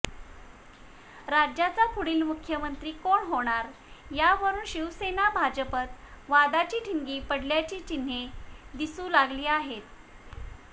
राज्याचा पुढील मुख्यमंत्री कोण होणार यावरून शिवसेना भाजपत वादाची ठिणगी पडण्याची चिन्हे दिसू लागली आहेत